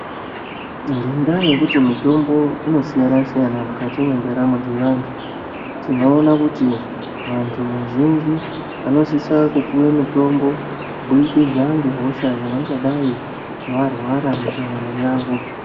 Ngendaa yekuti mutombo inosiyana siyana mukati mwendaramo dzevantu tinoone kuti vantu vazhinji vanositsa kupuwa mitombo kuburikidza ngehosha yavangadai varwara mundaramo yavo .